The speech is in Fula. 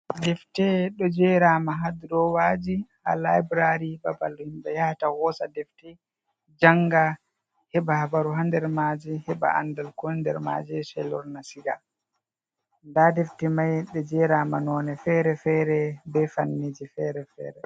Defte ɗo jerama ha drowaji ha laibrari, babal himɓɓe yahata hosa defti janga, heɓa habaru ha nder maji, heɓa andal ko woni nder maji sai lorna siga, nda defti mai ɗo jerama none fere-fere be fanniji fere-fere.